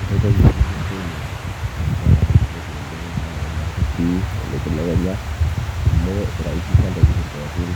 enkoitoi ebenki esimu netaa yioloti oleng naa kenyorri sii tolosho le kenya amu iraisisha ntokitin pookin